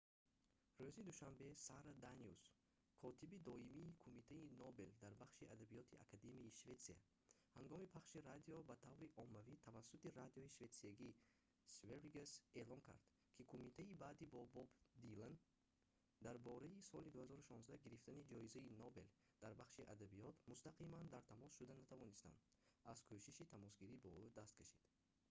рӯзи душанбе сара даниус котиби доимии кумитаи нобел дар бахши адабиёти академияи шветсия ҳангоми пахши радио ба таври оммавӣ тавассути радиои шветсиягии sveriges эълон кард ки кумита баъди бо боб дилан дар бораи соли 2016 гирифтани ҷоизаи нобел дар бахши адабиёт мустақиман дар тамос шуда натавонистан аз кӯшиши тамосгирӣ бо ӯ даст кашид